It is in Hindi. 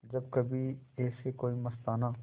जब कभी ऐसे कोई मस्ताना